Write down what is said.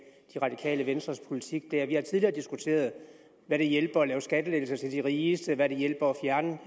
radikale venstres politik der vi har tidligere diskuteret hvad det hjælper at lave skattelettelser til de rigeste og hvad det hjælper at fjerne